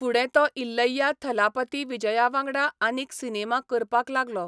फुडें तो इल्लैया थलापथी विजया वांगडा आनीक सिनेमा करपाक लागलो.